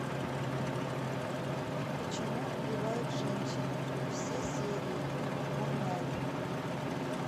почему убивает женщина все серии онлайн